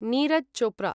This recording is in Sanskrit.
नीरज् चोप्रा